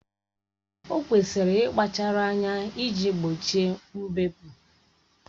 O kwesịrị ịkpachara anya iji gbochie mbepụ